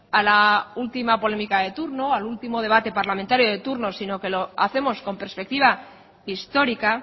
a la última polémica de turno al último debate parlamentario de turno sino que lo hacemos con perspectiva histórica